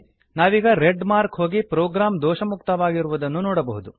ನಾವೀಗ red mark ಹೋಗಿ program ದೋಷಮುಕ್ತವಾಗಿರುವುದನ್ನು ನೋಡಬಹುದು